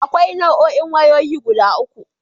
Akwai Nau'o'in wayoyi guda uku.